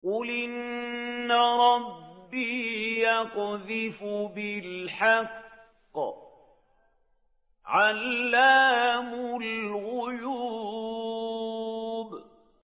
قُلْ إِنَّ رَبِّي يَقْذِفُ بِالْحَقِّ عَلَّامُ الْغُيُوبِ